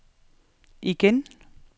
igen